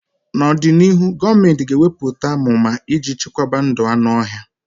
N'ọdịnịhụ, gọọmentị ga-eweputa amụma iji chekwaba ndụ anụ ọhịa.